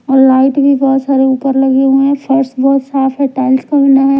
और लाइट भी बहुत सारे ऊपर लगे हुए हैं फर्स बहुत साफ है टाइल्स का बना है।